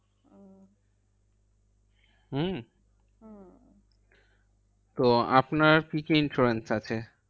হম হম তো আপনার কি কি insurance আছে?